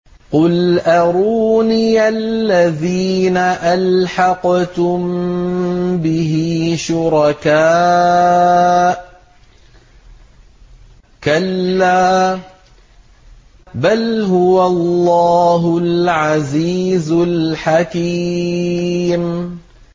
قُلْ أَرُونِيَ الَّذِينَ أَلْحَقْتُم بِهِ شُرَكَاءَ ۖ كَلَّا ۚ بَلْ هُوَ اللَّهُ الْعَزِيزُ الْحَكِيمُ